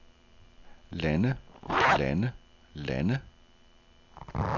lande lande lande